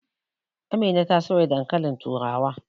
Amina ta soya dankalin turawa.